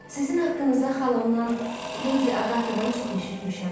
Sizin haqqınızda xalamdan, Ledi Agatadan çox eşitmişəm.